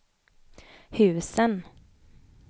husen